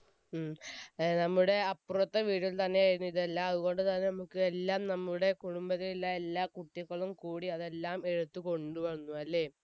ഉം നമ്മുടെ അപ്പുറത്തെ വീട്ടിൽ തന്നെ ആയിരുന്നു ഇതെല്ലാം അതുകൊണ്ട് തന്നെ നമ്മുക്ക് എല്ലാം നമ്മുടെ കുടുംബത്തിലുള്ള എല്ലാ കുട്ടികളും കൂടി അതെല്ലാം എടുത്തുകൊണ്ടു വന്നുവല്ലേ